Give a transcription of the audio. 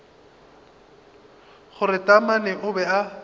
gore taamane o be a